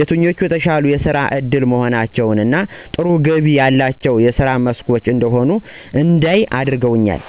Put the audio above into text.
የትኞቹ የተሻሉ የስራ እድል መሆናቸውን እና ጥሩ ገቢ ያላቸው የስራ መስኮች እንደሆኑ እንዳይ አድርገውኛል።